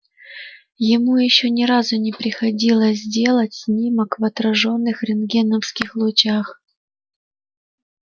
ему ещё ни разу не приходилось делать снимок в отражённых рентгеновских лучах